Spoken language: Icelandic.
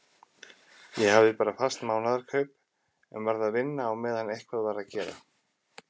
Ég hafði bara fast mánaðarkaup en varð að vinna á meðan eitthvað var að gera.